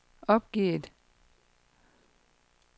opgivet